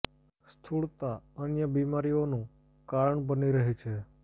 સ્થૂળતા અન્ય બીમારીઓનું કારણ પણ બની રહી છે